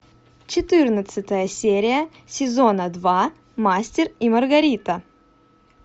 четырнадцатая серия сезона два мастер и маргарита